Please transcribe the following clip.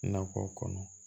Nakɔ kɔnɔ